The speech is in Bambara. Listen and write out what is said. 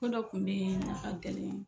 Don dɔ kun dii na a tɛlɛn